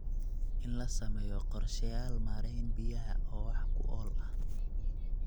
In la sameeyo qorshayaal maarayn biyaha oo wax ku ool ah.